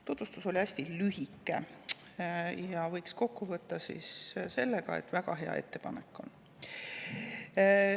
Tutvustus oli hästi lühike ja selle võiks kokku võtta, et väga hea ettepanek on.